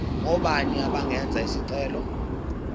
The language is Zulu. ngobani abangenza isicelo